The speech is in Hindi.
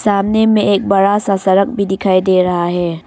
सामने में एक बड़ा सा सड़क भी दिखाई दे रहा है।